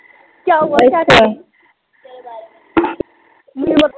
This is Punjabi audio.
ਓਕੇ